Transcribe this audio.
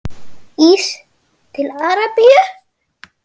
Ís til Arabíu?